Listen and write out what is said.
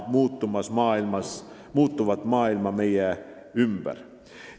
Just sellisena näen ma muutuvat maailma meie ümber.